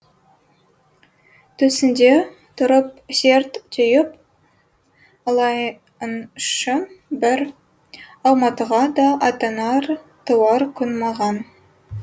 төсіңде тұрып серт түйіп алайыншы бір алматыға да аттанар туар күн маған